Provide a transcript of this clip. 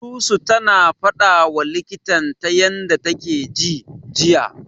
Susu tana fadawa likitan ta yanda take ji, jiya.